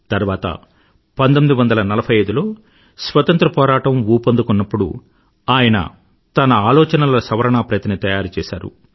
తర్వాత 1945లో స్వతంత్ర పోరాటం ఊపందుకొన్నప్పుడు ఆయన తన ఆలోచనల సవరణా ప్రతి ని తయారుచేసారు